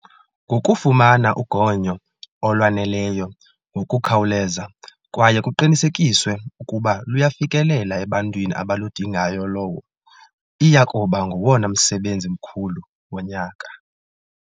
Ngokufumana ugonyo olwaneleyo ngokukhawuleza kwaye kuqinisekiswe ukuba luyafikelela ebantwini abaludingayolowo iya kuba ngowona msebenzi mkhulu wonyaka.